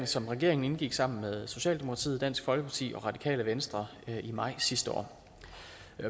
som regeringen indgik sammen med socialdemokratiet dansk folkeparti og radikale venstre i maj sidste år